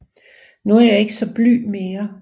Nu er jeg ikke saa blyg mere